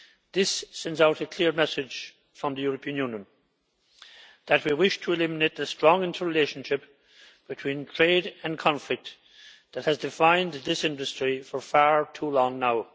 This sends out a clear message from the European Union that we wish to eliminate the strong interrelationship between trade and conflict that has defined this industry for far too long now.